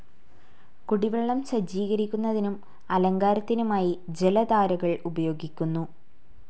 കുടിവെള്ളം സജ്ജീകരിക്കുന്നതിനും അലങ്കാരത്തിനുമായി ജലധാരകൾ ഉപയോഗിക്കുന്നു.